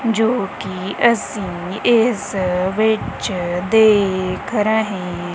ਜੋ ਕਿ ਅਸੀਂ ਇਸ ਵਿੱਚ ਦੇਖ ਰਹੇ--